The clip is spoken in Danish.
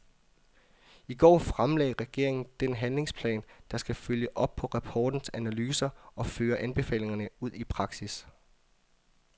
I går fremlagde regeringen den handlingsplan, der skal følge op på rapportens analyser og føre anbefalingerne ud i praksis.